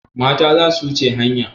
Mata za su wuce hanya.